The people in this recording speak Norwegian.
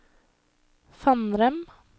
Fannrem